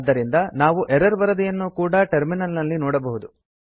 ಆದ್ದರಿಂದ ನಾವು ಎರರ್ ವರದಿಯನ್ನೂ ಕೂಡಾ ಟರ್ಮಿನಲ್ ನಲ್ಲಿ ನೋಡಬಹುದು